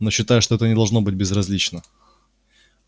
но считается что это не должно быть безразлично